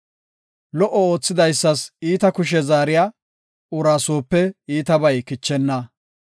Lo77o oothidaysas iita kushe zaariya uraa soope iitabay kichenna.